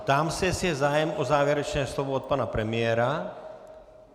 Ptám se, jestli je zájem o závěrečné slovo od pana premiéra.